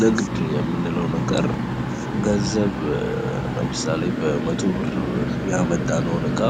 ንግድ የምንለው ነገር ገንዘብ ለምሳሌ በመቶ ብር ያመጣነውን ዕቃ